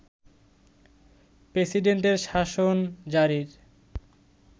প্রেসিডেন্টের শাসন জারির